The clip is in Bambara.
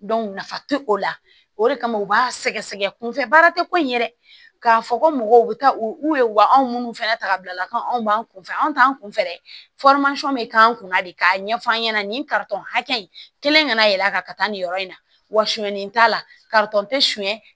nafa tɛ o la o de kama u b'a sɛgɛ sɛgɛ kun fɛ baara tɛ ko in yɛrɛ k'a fɔ ko mɔgɔw bɛ taa o ye wa anw minnu fana ta bila la ko anw b'an kunfɛ anw t'an kun fɛ bɛ k'an kunna de k'a ɲɛf'an ɲɛna nin hakɛ in kɛlen kana yɛl'a kan ka taa nin yɔrɔ in na wa sonyanni t'a la katɔn tɛ sonya